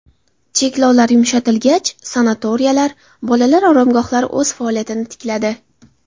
Cheklovlar yumshatilgach, sanatoriylar, bolalar oromgohlari o‘z faoliyatini tikladi.